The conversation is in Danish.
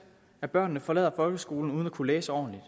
af børnene forlader folkeskolen uden at kunne læse ordentligt